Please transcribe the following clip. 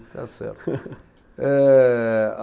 Está certo. Eh a